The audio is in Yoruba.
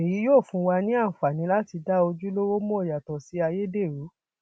èyí yóò fún wa ní àǹfààní láti dá ojúlówó mọ yàtọ sí ayédèrú